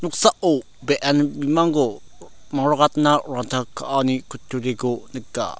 noksao be·en bimangko mangrakatna ranta ka·ani kutturiko nika.